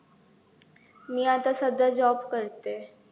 मी आता सध्या job करते.